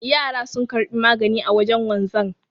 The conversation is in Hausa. Yara sun karbi magani a wajen wanzan